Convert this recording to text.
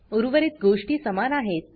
उर्वरित गोष्टी समान आहेत